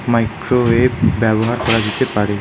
Microwave ব্যবহার করা যেতে পারে।